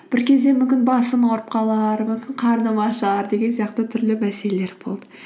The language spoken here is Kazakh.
бір кезде мүмкін басым ауырып қалар мүмкін қарным ашар деген сияқты түрлі мәселелер болды